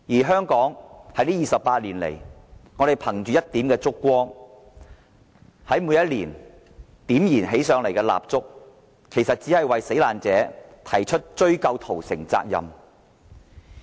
香港在這28年來，在每年燃點起蠟燭，憑着這一點燭光，繼續為死難者追究屠城責任。